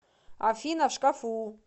афина в шкафу